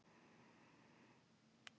Það reyndist leiðinlegur misskilningur